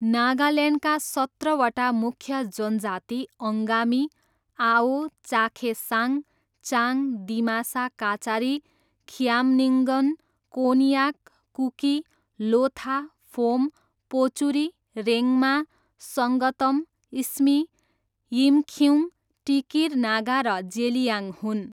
नागाल्यान्डका सत्रवटा मुख्य जनजाति अङ्गामी, आओ, चाखेसाङ, चाङ, दिमासा काचारी, खिआम्निङ्गन, कोन्याक, कुकी, लोथा, फोम, पोचुरी, रेङ्मा, सङ्गतम, स्मी, यिमखिउङ, टिकिर नागा र जेलियाङ हुन्।